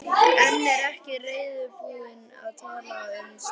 En er ekki reiðubúin að tala um slíkt.